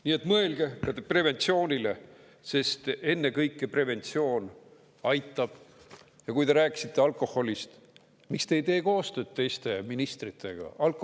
Nii et mõelge preventsioonile, sest ennekõike aitab preventsioon, ja kui te rääkisite alkoholist, miks te ei tee koostööd teiste ministritega?